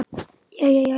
Jæja, jæja.